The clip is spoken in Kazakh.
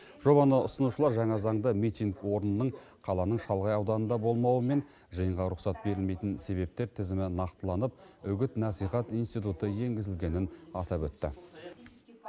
жобаны ұсынушылар жаңа заңда митинг орнының қаланың шалғай ауданында болмауы мен жиынға рұқсат берілмейтін себептер тізімі нақтыланып үгіт насихат институты енгізілгенін атап өтті